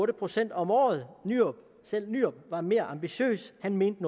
procent om året selv nyrup var mere ambitiøs han mente